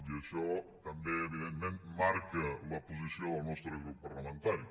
i això també evidentment marca la posició del nostre grup parlamentari